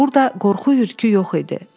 Burda qorxu-hürküsü yox idi.